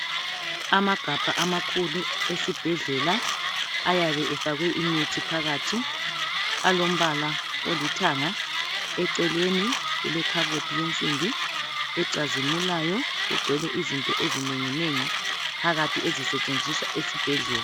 Amagabha amakhulu esibhedlela ayabe efakwe imithi phakathi alombala olithanga eceleni kulekhabothi eyensimbi ecazimulayo eceleni kulezinto ezinengi nengi ezisetshenziswa esibhedlela